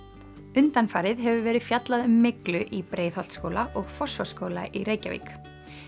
undanfarið hefur verið fjallað um myglu í Breiðholtsskóla og Fossvogsskóla í Reykjavík